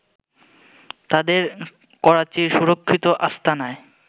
তাদের করাচির সুরক্ষিত আস্তানায়